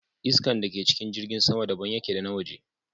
Iskan da ke cikin jirgin sama daban yake da na waje